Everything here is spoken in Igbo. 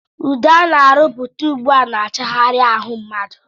Ude ana arụputa ugbua na- achaghari ahụ mmadụ.